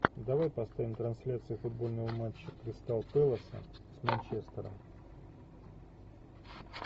давай поставим трансляцию футбольного матча кристал пэласа с манчестером